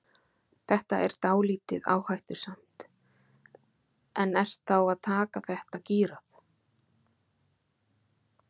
Þetta er dálítið áhættusamt en ert þá að taka þetta gírað?